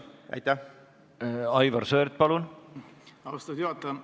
Aitäh, austatud juhataja!